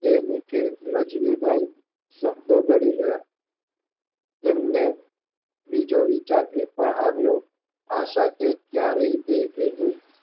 એ નિકે રજનીભાઇ શબ્દો ગળી ગયા તેમને બીજો વિચાર એ પણ આવ્યો આશા કે ત્યારે તે